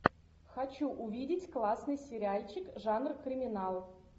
хочу увидеть классный сериальчик жанр криминал